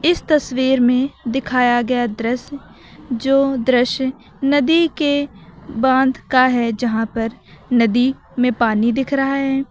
इस तस्वीर में दिखाया गया दृश्य जो दृश्य नदी के बांध का है जहां पर नदी में पानी दिख रहा है।